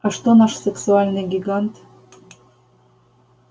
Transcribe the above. а что наш сексуальный гигант